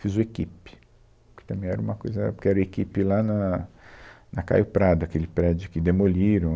Fiz o Equipe, que também era uma coisa na época que era o Equipe lá na, na Caio Prada, aquele prédio que demoliram.